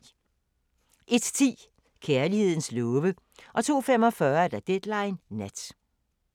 01:10: Kærlighedens love 02:45: Deadline Nat